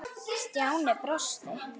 Stjáni brosti.